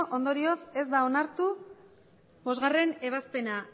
hogei ondorioz ez da onartu bostgarrena ebazpena